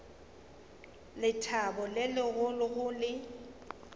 lethabo le legolo go le